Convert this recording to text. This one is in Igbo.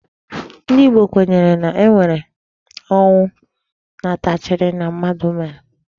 Ndị Igbo kwenyere na e nwere ọnwụ nnataarchi na mmadụ mere.